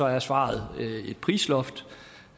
er svaret et prisloft